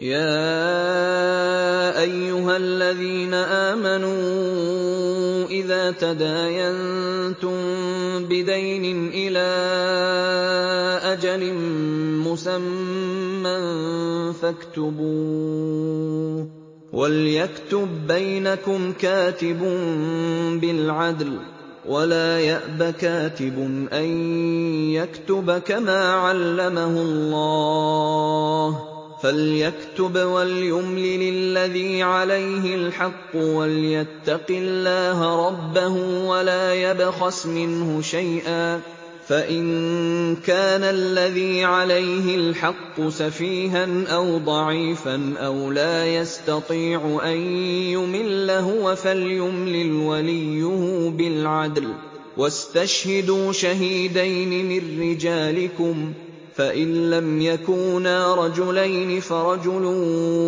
يَا أَيُّهَا الَّذِينَ آمَنُوا إِذَا تَدَايَنتُم بِدَيْنٍ إِلَىٰ أَجَلٍ مُّسَمًّى فَاكْتُبُوهُ ۚ وَلْيَكْتُب بَّيْنَكُمْ كَاتِبٌ بِالْعَدْلِ ۚ وَلَا يَأْبَ كَاتِبٌ أَن يَكْتُبَ كَمَا عَلَّمَهُ اللَّهُ ۚ فَلْيَكْتُبْ وَلْيُمْلِلِ الَّذِي عَلَيْهِ الْحَقُّ وَلْيَتَّقِ اللَّهَ رَبَّهُ وَلَا يَبْخَسْ مِنْهُ شَيْئًا ۚ فَإِن كَانَ الَّذِي عَلَيْهِ الْحَقُّ سَفِيهًا أَوْ ضَعِيفًا أَوْ لَا يَسْتَطِيعُ أَن يُمِلَّ هُوَ فَلْيُمْلِلْ وَلِيُّهُ بِالْعَدْلِ ۚ وَاسْتَشْهِدُوا شَهِيدَيْنِ مِن رِّجَالِكُمْ ۖ فَإِن لَّمْ يَكُونَا رَجُلَيْنِ فَرَجُلٌ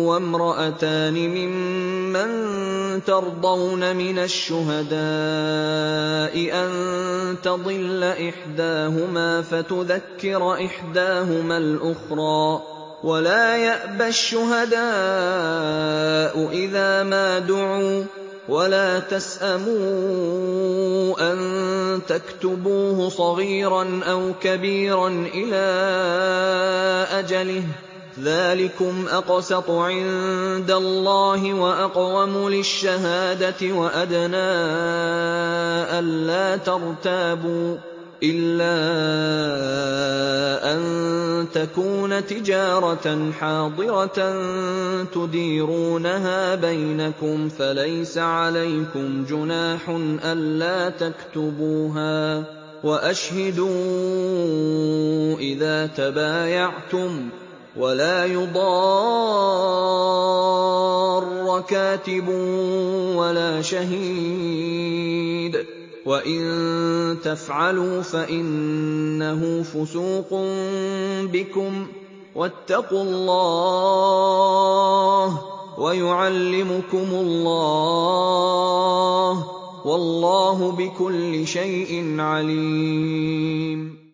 وَامْرَأَتَانِ مِمَّن تَرْضَوْنَ مِنَ الشُّهَدَاءِ أَن تَضِلَّ إِحْدَاهُمَا فَتُذَكِّرَ إِحْدَاهُمَا الْأُخْرَىٰ ۚ وَلَا يَأْبَ الشُّهَدَاءُ إِذَا مَا دُعُوا ۚ وَلَا تَسْأَمُوا أَن تَكْتُبُوهُ صَغِيرًا أَوْ كَبِيرًا إِلَىٰ أَجَلِهِ ۚ ذَٰلِكُمْ أَقْسَطُ عِندَ اللَّهِ وَأَقْوَمُ لِلشَّهَادَةِ وَأَدْنَىٰ أَلَّا تَرْتَابُوا ۖ إِلَّا أَن تَكُونَ تِجَارَةً حَاضِرَةً تُدِيرُونَهَا بَيْنَكُمْ فَلَيْسَ عَلَيْكُمْ جُنَاحٌ أَلَّا تَكْتُبُوهَا ۗ وَأَشْهِدُوا إِذَا تَبَايَعْتُمْ ۚ وَلَا يُضَارَّ كَاتِبٌ وَلَا شَهِيدٌ ۚ وَإِن تَفْعَلُوا فَإِنَّهُ فُسُوقٌ بِكُمْ ۗ وَاتَّقُوا اللَّهَ ۖ وَيُعَلِّمُكُمُ اللَّهُ ۗ وَاللَّهُ بِكُلِّ شَيْءٍ عَلِيمٌ